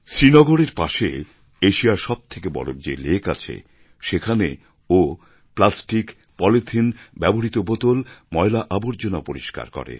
শ্রীনগরের পাশে এশিয়ার সব থেকে বড় যে লেক আছে সেখানেও প্লাসটিক পলিথিন ব্যবহৃত বোতল ময়লা আবর্জনা পরিষ্কার করে